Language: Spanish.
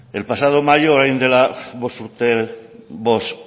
el pasado mayo orain dela bost